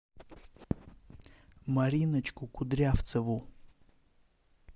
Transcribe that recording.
мариночку кудрявцеву